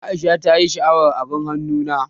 Aisha ta ƴi sha'awar abin hannu na.